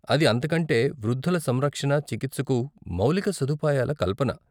అది అంతకంటే వృద్ధుల సంరక్షణ, చికిత్సకు మౌలిక సదుపాయాల కల్పన.